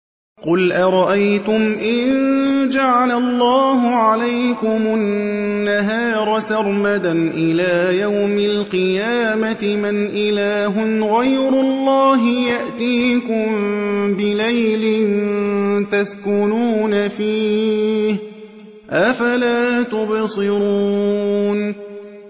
قُلْ أَرَأَيْتُمْ إِن جَعَلَ اللَّهُ عَلَيْكُمُ النَّهَارَ سَرْمَدًا إِلَىٰ يَوْمِ الْقِيَامَةِ مَنْ إِلَٰهٌ غَيْرُ اللَّهِ يَأْتِيكُم بِلَيْلٍ تَسْكُنُونَ فِيهِ ۖ أَفَلَا تُبْصِرُونَ